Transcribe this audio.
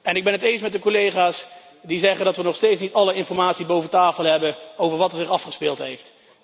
Ik ben het eens met de collega's die zeggen dat we nog steeds niet alle informatie boven tafel hebben over wat er zich afgespeeld heeft.